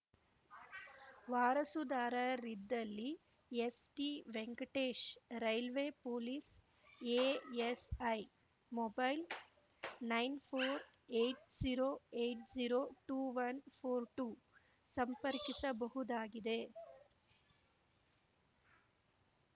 ವಾರಸುದಾರರಿದ್ದಲ್ಲಿ ST Venkatesh railway police ASI mobile nine four eight zero eight zero two one four two ಸಂಪರ್ಕಿಸಬಹುದಾಗಿದೆ